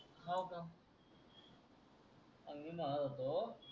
हव का? अन मी म्हणत होतो